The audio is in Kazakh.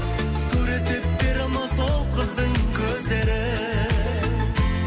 суреттеп бере алмас ол қыздың көздерін